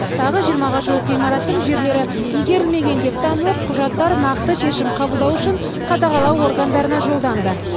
тағы жиырмаға жуық ғимараттың жерлері игерілмеген деп танылып құжаттар нақты шешім қабылдау үшін қадағалау органдарына жолданды